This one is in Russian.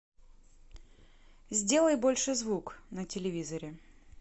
сделай больше звук на телевизоре